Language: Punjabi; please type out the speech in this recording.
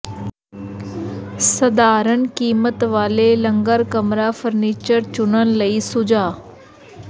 ਸਾਧਾਰਣ ਕੀਮਤ ਵਾਲੇ ਲੰਗਰ ਕਮਰਾ ਫਰਨੀਚਰ ਚੁਣਨ ਲਈ ਸੁਝਾਅ